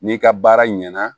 N'i ka baara ɲɛna